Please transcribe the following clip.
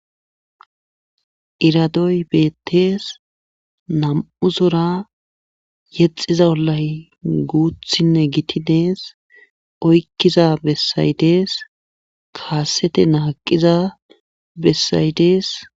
Itadoy bettees nam'u zora yexiza ollay guuthinne gittidees oykkiza bessaydees kaasete naaqiza bessaydees.